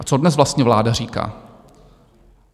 A co dnes vlastně vláda říká?